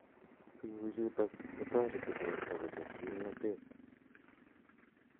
Tuguchutok ko tareti porto kochep kimnatet